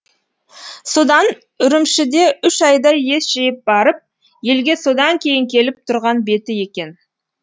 содан үрімшіде үш айдай ес жиып барып елге содан кейін келіп тұрған беті екен